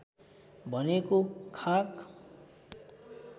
भनेको खाक